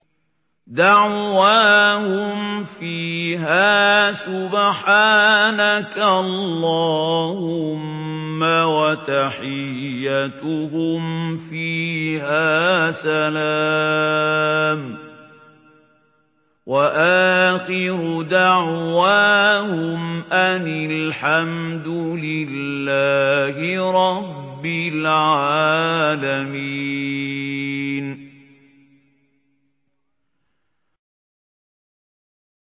دَعْوَاهُمْ فِيهَا سُبْحَانَكَ اللَّهُمَّ وَتَحِيَّتُهُمْ فِيهَا سَلَامٌ ۚ وَآخِرُ دَعْوَاهُمْ أَنِ الْحَمْدُ لِلَّهِ رَبِّ الْعَالَمِينَ